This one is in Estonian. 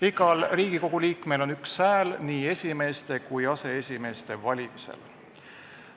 Igal Riigikogu liikmel on üks hääl nii esimehe kui ka aseesimeeste valimisel.